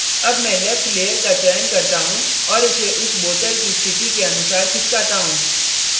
अतः अब मैं left layer का चयन करता हूँ और इसे उस bottle की स्थिति के अनुसार खिसकाता हूँ